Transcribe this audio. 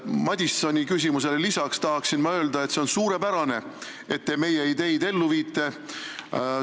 Madisoni küsimusele lisaks tahan ma öelda, et see on suurepärane, et te meie ideid ellu viite.